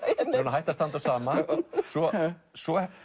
hætt að standa á sama svo svo